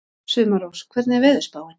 Sumarrós, hvernig er veðurspáin?